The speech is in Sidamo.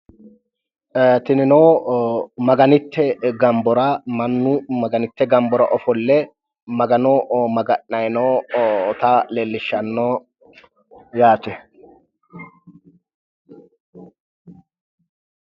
Tinino magannite gambora ofolle Magano maga'nayi noota leellishshanno yaate.